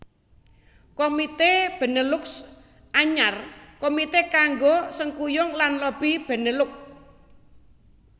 Komité Benelux Anyar Komité kanggo sengkuyung lan lobi Benelux